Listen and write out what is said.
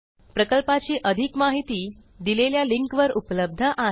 प्रकल्पाची अधिक माहिती दिलेल्या लिंकवर उपलब्ध आहे